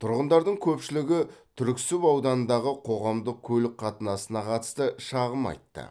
тұрғындардың көпшілігі түрксіб ауданындағы қоғамдық көлік қатынасына қатысты шағым айтты